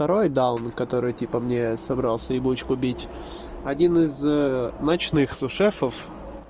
второй даун который типа мне собрался ебучку бить один из ночных су-шефов